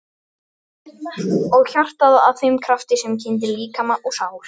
Og hjartað að þeim krafti sem kyndir líkama og sál?